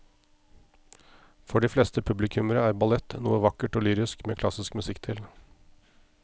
For de fleste publikummere er ballett noe vakkert og lyrisk med klassisk musikk til.